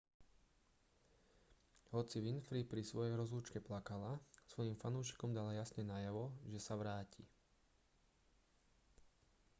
hoci winfrey pri svojej rozlúčke plakala svojim fanúšikom dala jasne najavo že sa vráti